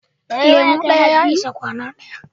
Lemu ɗaya ya isa kwana ɗaya